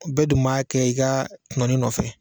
Bɛɛ dun b'a kɛ i ka tunɔni nɔfɛ